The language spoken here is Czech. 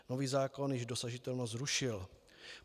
Nový zákon již dosažitelnost zrušil.